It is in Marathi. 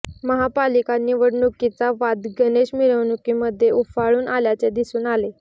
महापालिका निवडणुकीचा वाद गणेश मिरवणुकीमध्ये उफाळून आल्याचे दिसून आले